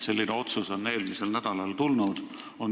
Selline otsus tuli eelmisel nädalal.